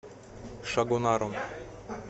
шагонаром